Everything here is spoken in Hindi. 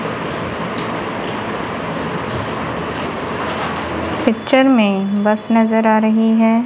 पिक्चर में बस नजर आ रही है।